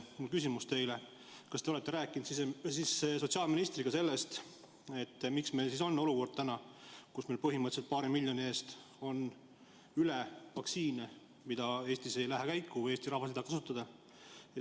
Minu küsimus teile: kas te olete rääkinud sotsiaalministriga sellest, miks meil on täna olukord, kus meil põhimõtteliselt on paari miljoni euro eest üle vaktsiine, mis Eestis ei lähe käiku või mida Eesti rahvas ei taha kasutada?